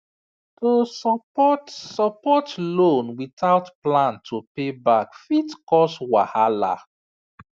to support support loan without plan to pay back fit cause wahala